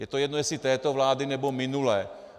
Je to jedno, jestli této vlády, nebo minulé.